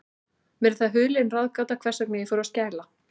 Mér er það hulin ráðgáta, hvers vegna ég fór að skæla.